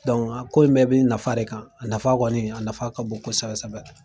a ko in bɛɛ bɛ nafa re kan, a nafa kɔni, a nafa ka bon kosɛbɛ sɛbɛ.